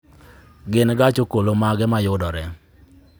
Gin gach okolomage ma yudore